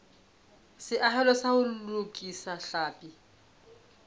seahelo sa ho lokisa tlhapi